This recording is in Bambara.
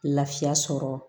Lafiya sɔrɔ